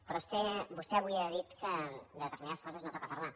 però vostè avui ha dit que de determinades coses no toca parlar